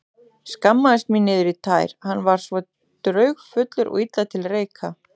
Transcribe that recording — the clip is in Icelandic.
Skammaðist mín niður í tær, hann var svo draugfullur og illa til reika.